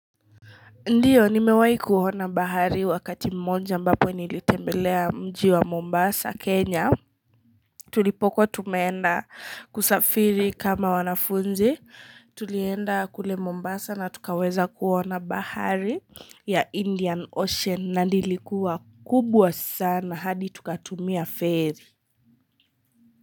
Ndiyo, nimewai kuona bahari wakati mmonja ambapo nilitembelea mji wa Mombasa, Kenya. Tulipokuwa tumeenda kusafiri kama wanafunzi. Tulienda kule Mombasa na tukaweza kuona bahari ya Indian Ocean na ndoilikuwa kubwa sana hadi tukatumia feri.